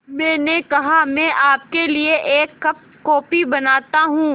मैंने कहा मैं आपके लिए एक कप कॉफ़ी बनाता हूँ